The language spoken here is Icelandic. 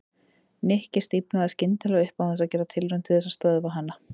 Nikki stífnaði skyndilega upp án þess að gera tilraun til þess að stöðva hana.